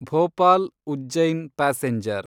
Bhopal Ujjain passenger